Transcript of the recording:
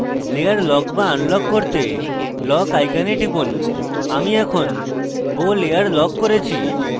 layer lock to unlock করতে lock icon টিপুন আমি এখন bow layer lock করেছি